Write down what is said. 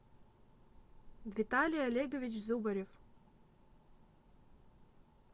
виталий олегович зубарев